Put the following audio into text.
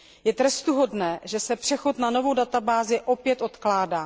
Je trestuhodné, že se přechod na novou databázi opět odkládá.